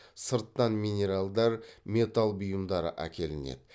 сырттан минералдар металл бұйымдары әкелінеді